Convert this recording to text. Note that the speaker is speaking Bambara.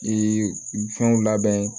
Ee fɛnw labɛn